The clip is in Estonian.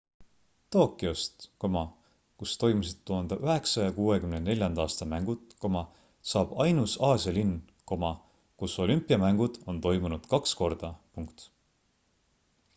tokyost kus toimusid 1964 aasta mängud saab ainus aasia linn kus olümpiamängud on toimunud kaks korda